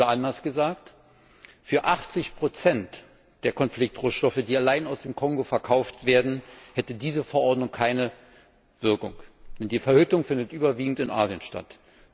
Oder anders gesagt Für 80 der Konfliktrohstoffe, die allein aus dem Kongo verkauft werden, hätte diese Verordnung keine Wirkung, denn die Verhüttung findet überwiegend in Asien statt.